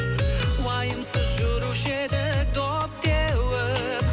уайымсыз жүруші едік доп теуіп